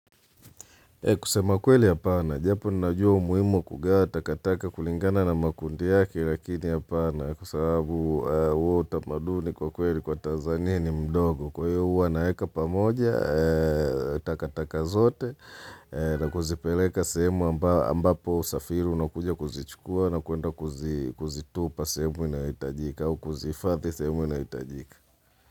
Kusema kweli hapana, japo ninajua umuhimu wa kugawa takataka kulingana na makundi yake lakini hapana kwa sababu huo utamaduni kwa kweli kwa Tanzania ni mdogo. Kwa hiyo huwa naweka pamoja takataka zote na kuzipeleka sehemu ambapo usafiri unakuja kuzichukua na kuenda kuzitupa sehemu inahitajika au kuzihifadhi sehemu inahitajika.